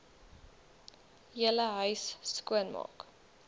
hele huis skoonmaak